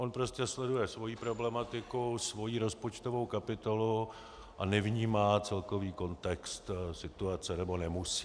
On prostě sleduje svoji problematiku, svoji rozpočtovou kapitolu a nevnímá celkový kontext situace, nebo nemusí.